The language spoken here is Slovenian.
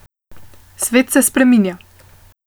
Svet se spreminja.